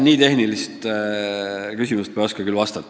Nii tehnilisele küsimusele ma küll ei oska vastata.